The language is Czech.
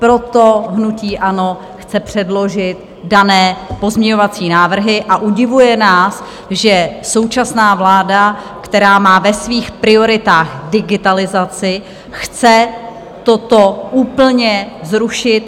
Proto hnutí ANO chce předložit dané pozměňovací návrhy a udivuje nás, že současná vláda, která má ve svých prioritách digitalizaci, chce toto úplně zrušit.